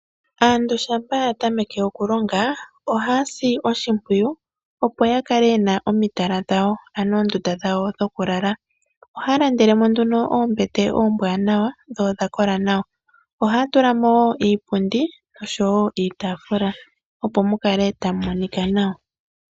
Aantu shampa ya tameke okulonga ohaya si oshimpwiyu, opo ya kale ye na omitala dhwawo, ano oondunda dhawo dhokulala. Ohaya landele mo nduno oombete dhawo oombwaanawa nodha kola nawa. Ohaya tula mo wo iipundi oshowo iitaafula, opo mu kale tamu monika nawa.